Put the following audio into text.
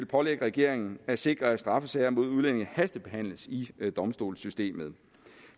pålægge regeringen at sikre at straffesager mod udlændinge hastebehandles i domstolssystemet